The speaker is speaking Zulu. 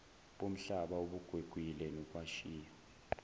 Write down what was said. bomhlaba obugwegwile nokwashiya